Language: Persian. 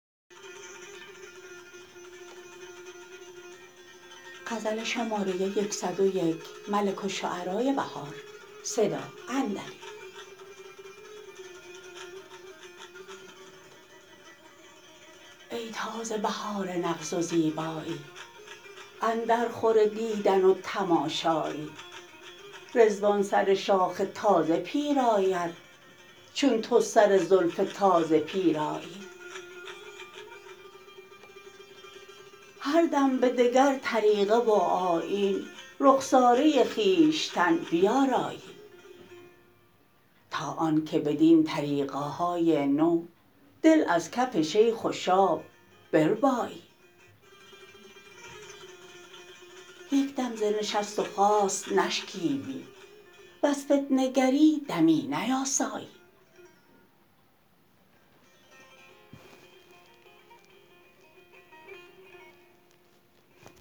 ای تازه بهار نغز و زیبایی اندر خور دیدن و تماشایی رضوان سر شاخ تازه پیراید چون تو سر زلف تازه پیرایی هر دم به دگر طریقه و آیین رخساره خویشتن بیارایی تا آن که بدین طریقه های نو دل از کف شیخ و شاب بربایی یک دم ز نشست وخاست نشکیبی وز فتنه گری دمی نیاسایی